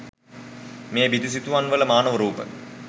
මේ බිතු සිතුවම් වල මානව රූප